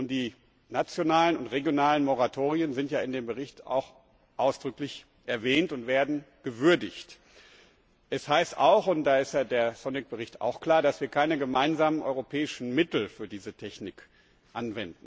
Die nationalen und regionalen Moratorien sind in dem Bericht auch ausdrücklich erwähnt und werden gewürdigt. Es heißt auch und da ist der Bericht Sonik klar dass wir keine gemeinsamen europäischen Mittel für diese Technik einsetzen.